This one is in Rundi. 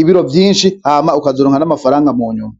ibiro vyinshi hama ukazuronka n'amafaranga mu nyuma.